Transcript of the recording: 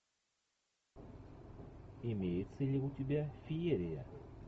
имеется ли у тебя феерия